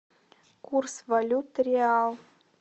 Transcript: курс валюты реал